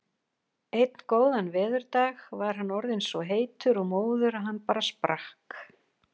Einn góðan veðurdag var hann orðinn svo heitur og móður að hann bara sprakk.